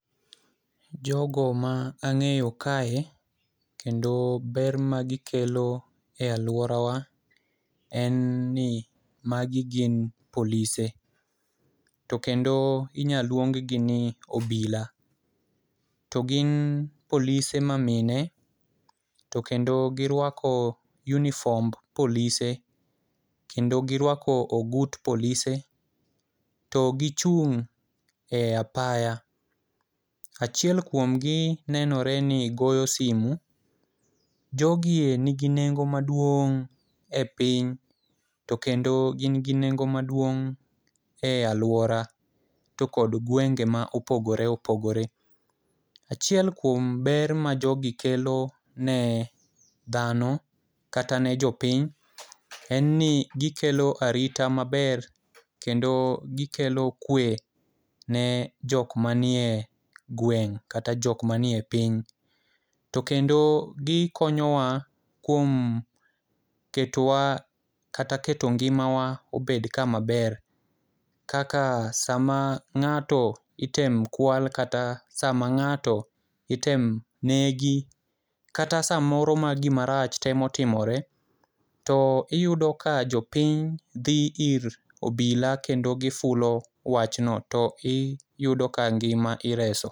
Jogo ma ang'eyo kae kendo ber ma gikelo e aluorawa en ni magi gin polise to kendo inyalo luong gi ni obila. To gin polise mamine to kendo giruako uniform polise to kendo giruako ogut polise to gichung' e apaya. Achiel kuom gi nenore ni goyo simu. Jogie nigi nengo maduong' e piny to kendo gin gi nengo maduong' e aluora to kod gwenge ma opogore opogore. Achiel kuom ber majogi kelo ne dhano kata ne jo piny en ni gkelo arita maber kendo gikelo kwe ne jok manie gweng' kata jok manie piny to kendo gikonyowa kuom ketowa kata keto ngimawa obed kama ber kaka sama ng'ato itemo kwal kata sama ng'ato itemo negi kata samoro ma gimarach temo timore to iyudo ka jo piny dhi ir obila to gifulo wachno to iyudo ka ngima ireso.